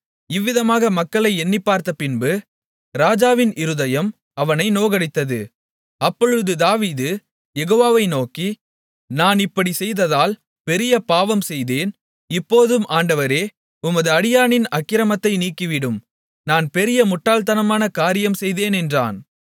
இவ்விதமாக மக்களை எண்ணிப்பார்த்த பின்பு ராஜாவின் இருதயம் அவனை நோகடித்தது அப்பொழுது தாவீது யெகோவாவை நோக்கி நான் இப்படிச் செய்ததால் பெரிய பாவம் செய்தேன் இப்போதும் ஆண்டவரே உமது அடியானின் அக்கிரமத்தை நீக்கிவிடும் நான் பெரிய முட்டாள்தனமான காரியம் செய்தேன் என்றான்